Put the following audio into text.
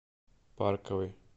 парковый